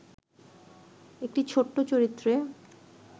একটি ছোট্ট চরিত্রে